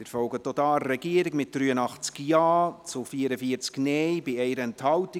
Sie folgen auch hier der Regierung, mit 83 Ja- zu 44 Nein-Stimmen bei 1 Enthaltung.